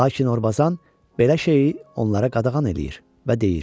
Lakin Orbazan belə şeyi onlara qadağan eləyir və deyir: